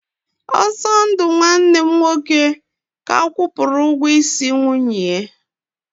Osondu nwanne m nwoke ka kwụpụrụ ụgwọ isi nwunye ya.